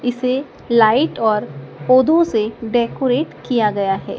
इसे लाइट और पौधों से डेकोरेट किया गया है।